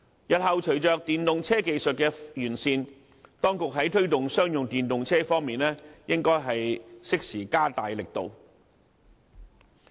日後隨着電動車技術的完善，當局在推動商用電動車方面應該適時加大力度。